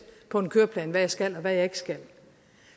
på en køreplan hvad jeg skal og hvad jeg ikke skal